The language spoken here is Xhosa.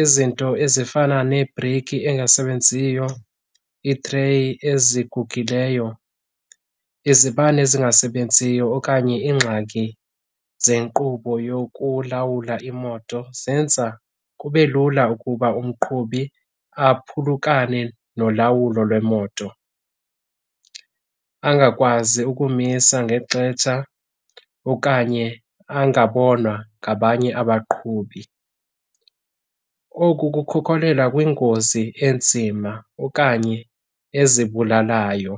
Izinto ezifana nebhreyiki engasebenziyo, iitreyi ezigugileyo, izibane ezingasebenziyo okanye iingxaki zenkqubo yokulawula imoto zenza kube lula ukuba umqhubi aphulukane nolawulo lweemoto, angakwazi ukumisa nge xetsha okanye angabonwa ngabanye abaqhubi. Oku kukhokhelela kwingozi enzima okanye ezibulalayo.